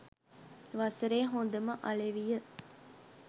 වසරේ හොඳම අලෙවිය